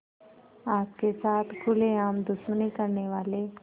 आपके साथ खुलेआम दुश्मनी करने वाले